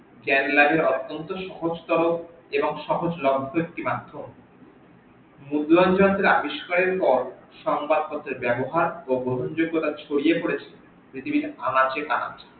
জ্ঞান লাভে অত্যন্ত সহস্তর এবং সহজ লাভ্য একটি মাদ্ধম আবিস্কারের পর সংবাদ পত্রের ব্যাবহার ও গ্রহণযোগ্যতা ছড়িয়ে পরেছে পৃথিবীর আনাচে কানাচে